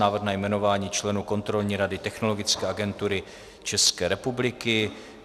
Návrh na jmenování členů Kontrolní rady Technologické agentury České republiky